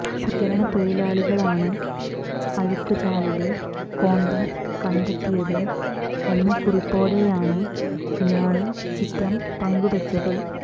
ശുചീകരണ തൊഴിലാളികളാണ് അഴുക്ക് ചാലില് കോണ്ടം കണ്ടെത്തിയത് എന്ന കുറിപ്പോടെയാണ് ഇയാള് ചിത്രം പങ്കുവെച്ചത്